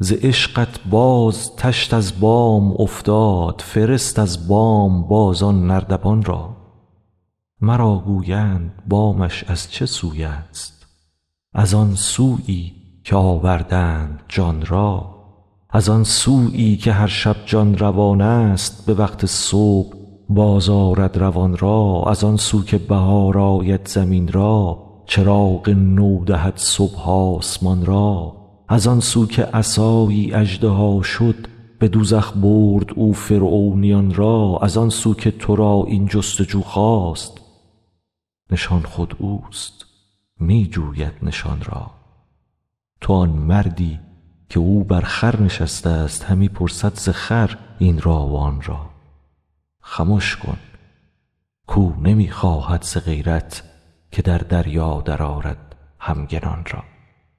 ز عشقت باز تشت از بام افتاد فرست از بام باز آن نردبان را مرا گویند بامش از چه سوی است از آن سویی که آوردند جان را از آن سویی که هر شب جان روان است به وقت صبح بازآرد روان را از آن سو که بهار آید زمین را چراغ نو دهد صبح آسمان را از آن سو که عصایی اژدها شد به دوزخ برد او فرعونیان را از آن سو که تو را این جست و جو خاست نشان خود اوست می جوید نشان را تو آن مردی که او بر خر نشسته است همی پرسد ز خر این را و آن را خمش کن کاو نمی خواهد ز غیرت که در دریا درآرد همگنان را